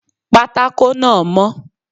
Pátákó náà mó